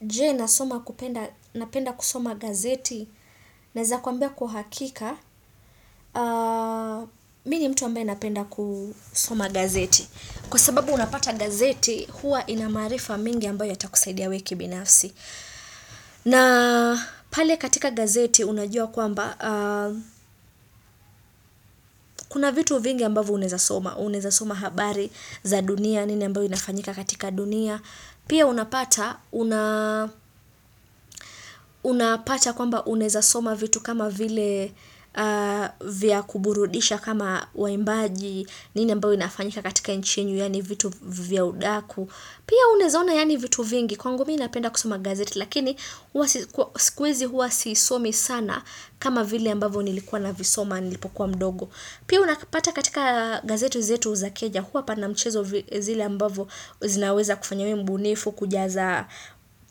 Je, napenda kusoma gazeti? Naweza kuambia kwa uhakika mimi ni mtu ambaye napenda kusoma gazeti kwa sababu unapata gazeti huwa ina maarifa mengi ambayo yatakusaidia we kibinafsi na pale katika gazeti unajua kwamba kuna vitu vingi ambavo uneza soma. Unaweza soma habari za dunia nini ambayo inafanyika katika dunia pia unapata kwamba unaeza soma vitu kama vile vya kuburudisha kama waimbaji, nini ambao inafanyika katika nchi yenu yaani vitu vya udaku pia uneza ona yaani vitu vingi kwangu mimi napenda kusoma gazeti lakini siku hizi huwa siisomi sana kama vile ambavyo nilikuwa na visoma nilipokuwa mdogo. Pia hunapata katika gazeti zetu za Kenya, huwa panamchezo zile ambavo zinaweza kufanya mbunifu kujaza